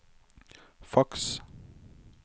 faks